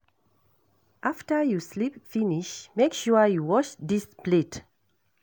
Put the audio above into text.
After you sleep finish make sure you wash dis plate